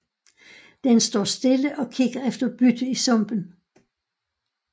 Den står stille og kigger efter bytte i sumpen